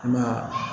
I ma ye